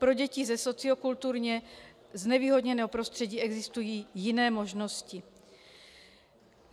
Pro děti ze sociokulturně znevýhodněného prostředí existují jiné možnosti.